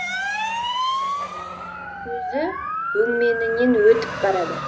көзі өңменінен өтіп барады